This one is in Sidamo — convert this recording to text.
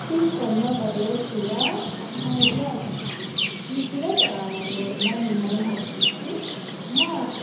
Sicconna badooshshe yaa mayyaate? misilete aana noo hodhishshi maati?